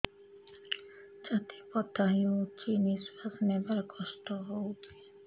ଛାତି ବଥା ହଉଚି ନିଶ୍ୱାସ ନେବାରେ କଷ୍ଟ ହଉଚି